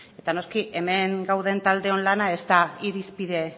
eta noski hemen gauden taldeon lana ez da irizpide